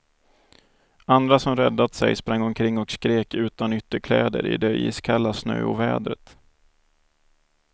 Andra som räddat sig sprang omkring och skrek utan ytterkläder i det iskalla snöovädret.